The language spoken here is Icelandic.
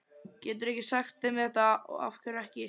Geturðu ekki sagt þeim þetta. af hverju ekki?